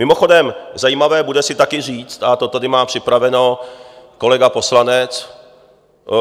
Mimochodem zajímavé bude také si říct, a to tady má připraveno kolega poslanec,